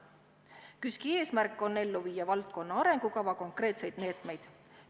KÜSK-i eesmärk on ellu viia valdkonna arengukava konkreetseid meetmeid.